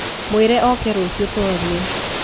Mũĩre oke rũciũ tũarie